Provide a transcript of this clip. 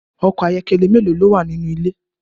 Ọkọ̀ ayọ́kẹ́lẹ́ méèló ni ó wà nínú ilé?